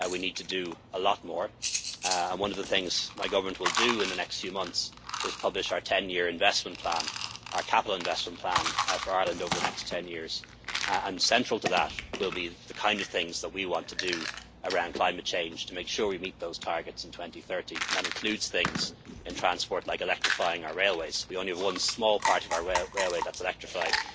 We need to do a lot more, and one of the things my government will do in the next few months is to publish our 10 year investment plan, our capital investment plan for Ireland over the next 10 years. Central to that will be the kind of things that we want to do around climate change to make sure we meet those targets in 2030. That includes things such as, in transport, electrifying our railways. We only have one small part of our railway that is electrified.